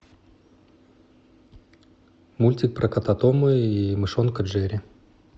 мультик про кота тома и мышонка джерри